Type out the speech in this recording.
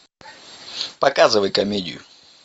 показывай комедию